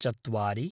चत्वारि